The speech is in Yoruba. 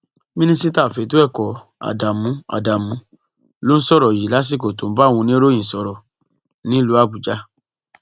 mínísítà fẹtọ ẹkọ ádámù ádámù ló sọrọ yìí lásìkò tó ń bá àwọn oníròyìn sọrọ nílùú àbújá